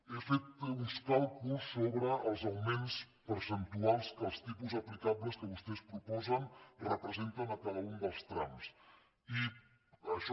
he fet uns càlculs sobre els augments percentuals que els tipus aplicables que vostès proposen representen a cada un dels trams i això